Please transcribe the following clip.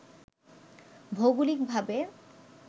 ভৌগোলিক ভাবে